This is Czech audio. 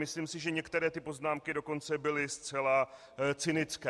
Myslím si, že některé ty poznámky dokonce byly zcela cynické.